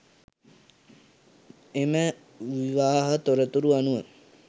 එම විවාහ තොරතුරු අනුව